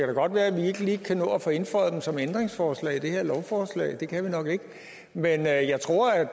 da godt være at vi ikke lige kan nå at få indføjet dem som ændringsforslag i det her lovforslag det kan vi nok ikke men jeg jeg tror at